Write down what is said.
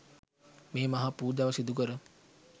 මේ මහා පූජාව සිදුකර